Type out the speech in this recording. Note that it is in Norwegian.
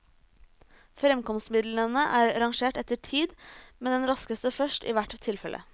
Fremkomstmidlene er rangert etter tid, med den raskeste først i hvert tilfelle.